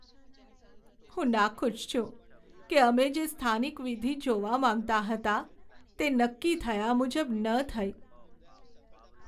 હું નાખુશ છું કે અમે જે સ્થાનિક વિધિ જોવા માંગતા હતા તે નક્કી થયા મુજબ ન થઈ.